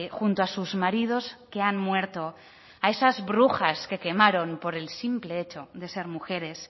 junto a sus maridos que han muerto a esas brujas que quemaron por el simple hecho de ser mujeres